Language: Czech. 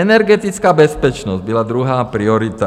Energetická bezpečnost byla druhá priorita.